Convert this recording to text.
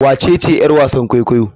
Wacece yar wasan kwaikwayo?